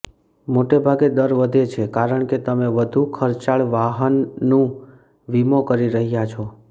મોટેભાગે દર વધે છે કારણ કે તમે વધુ ખર્ચાળ વાહનનું વીમો કરી રહ્યાં છો